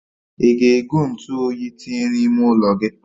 I ga-ego ntu oyi tinye na-ime ụlo gị?